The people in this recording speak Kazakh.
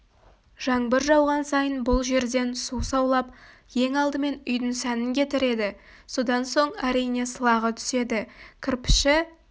жаңбыр жауған сайын бұл жерден су саулап ең алдымен үйдің сәнін кетіреді содан соң әрине сылағы түседі кірпіші